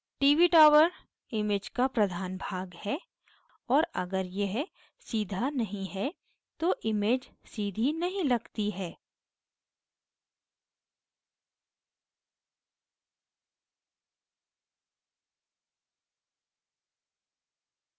tv tower image का प्रधान भाग है और अगर यह सीधा नहीं है तो image सीधी नहीं लगती है